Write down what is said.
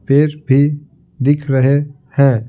फिर भी दिख रहे हैं।